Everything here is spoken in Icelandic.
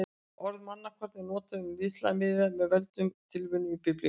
Orðið mannakorn er notað um litla miða með völdum tilvitnunum í Biblíuna.